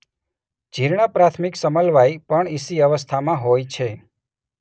જીર્ણ પ્રાથમિક સમલવાય પણ ઇસી અવસ્થામાં હોતા છે.